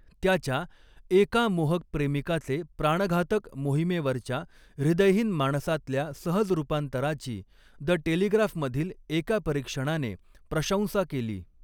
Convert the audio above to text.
त्याच्या 'एका मोहक प्रेमिकाचे प्राणघातक मोहिमेवरच्या हृदयहीन माणसातल्या सहज रूपांतरा'ची 'द टेलिग्राफ'मधील एका परीक्षणाने प्रशंसा केली.